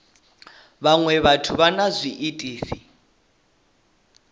vhaṅwe vhathu vha na zwiitisi